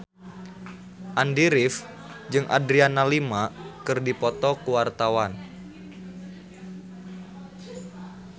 Andy rif jeung Adriana Lima keur dipoto ku wartawan